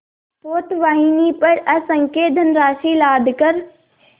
पोतवाहिनी पर असंख्य धनराशि लादकर